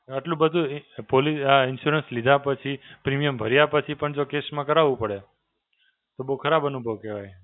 આટલું બધું એ પોલી આ insurance લીધા પછી, premium ભર્યા પછી પણ જો case માં કરવું પડે, તો બહું ખરાબ અનુભવ કહેવાય.